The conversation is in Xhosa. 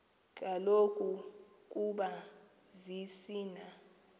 kaloku ukoba zisina